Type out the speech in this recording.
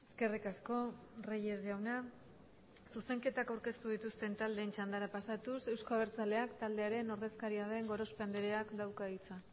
eskerrik asko reyes jauna zuzenketa aurkeztu dituzte taldeen txandara pasatuz euzko abertzaleak taldearen ordezkaria den gorospe andreak dauka hitza